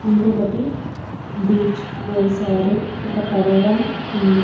ఇంకొకటి బ్రిడ్జ్ వేశారు ఒక పడవ కూడా ఉంది.